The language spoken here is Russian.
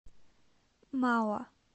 мауа